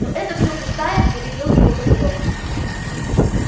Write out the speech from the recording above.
но это всё пустая перебил его прокурор